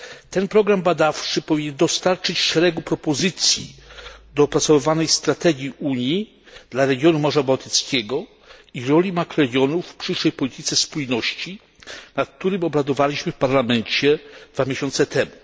Ten program badawczy powinien dostarczyć szeregu propozycji do opracowywanej strategii Unii dla regionu Morza Bałtyckiego i roli makroregionów w przyszłej polityce spójności, nad którą obradowaliśmy w Parlamencie dwa miesiące temu.